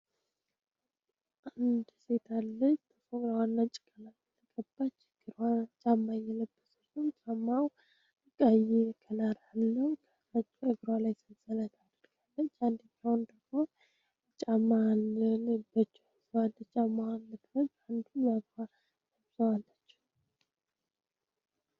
አንድ ሴታለጅ ተፉን ራዋና ጭቃላ ተቅባች ክ ጫማይ የለብ ስርቱ ጫማው እቃይ ከላር ህለው ከህረጅ እግራ ላይ ስንሰለት አደልያለች አንዲካሆን ደግሞ ጫማንልበች ዝዋልጫማዋን ለክበ አንዱ በፋ ንብዝዋላችው